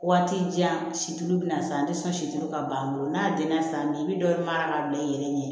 Waati jan situlu bɛ na san tɛ sɔn siw ka ban n'a denna sa nin i bɛ dɔ mara ka bila i yɛrɛ ɲɛ